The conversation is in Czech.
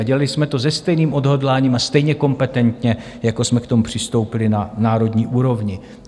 A dělali jsme to se stejným odhodláním a stejně kompetentně, jako jsme k tomu přistoupili na národní úrovni.